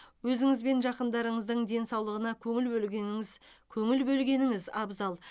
өзіңіз бен жақындарыңыздың денсаулығына көңіл бөлгеніңіз көңіл бөлгеніңіз абзал